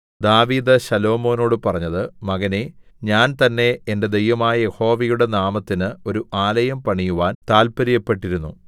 ദാവീദ് ശലോമോനോടു പറഞ്ഞത് മകനേ ഞാൻ തന്നേ എന്റെ ദൈവമായ യഹോവയുടെ നാമത്തിന് ഒരു ആലയം പണിയുവാൻ താല്പര്യപ്പെട്ടിരുന്നു